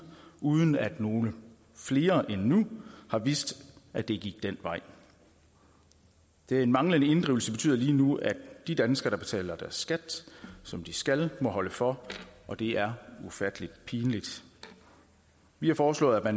uden at nogle flere end nu har vidst at det gik den vej den manglende inddrivelse betyder lige nu at de danskere der betaler deres skat som de skal må holde for og det er ufattelig pinligt vi har foreslået at